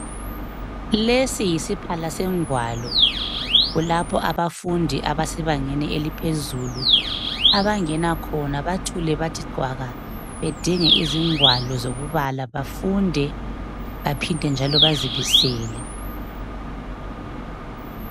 Lesi yisiphala sengwalo, kulapho abafundi abasebangeni eliphezulu, abangena khona bathule bathi cwaka, bedinge izingwalo zokubala bafunde, baphinde bazibisele.